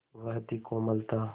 वह थी कोमलता